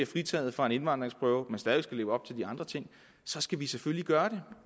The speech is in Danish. fritaget fra en indvandringsprøve men stadig skal leve op til de andre ting så skal vi selvfølgelig gøre